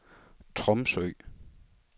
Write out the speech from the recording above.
Tromsø